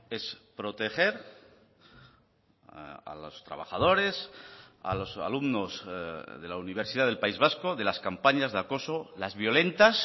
es proteger a los trabajadores a los alumnos de la universidad del país vasco de las campañas de acoso las violentas